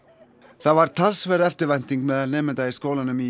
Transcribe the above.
það var talsverð eftirvænting meðal nemenda í skólanum í